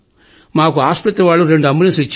మాకు ఆస్పత్రి వాళ్లు రెండు అంబులెన్స్ లు ఇచ్చారు